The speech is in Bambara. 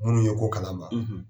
Minnu ye ko kalama